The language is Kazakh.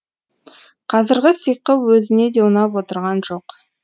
қазіргі сиқы өзіне де ұнап отырған жоқ